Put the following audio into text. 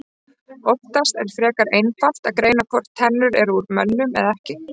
Oftast er frekar einfalt að greina hvort tennur eru úr mönnum eða ekki.